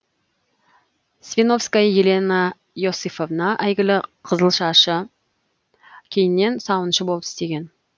свинковская елена иосифовна әйгілі қызылшашы кейіннен сауыншы болып істеген